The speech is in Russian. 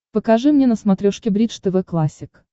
покажи мне на смотрешке бридж тв классик